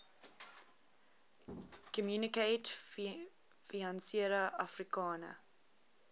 communaute financiere africaine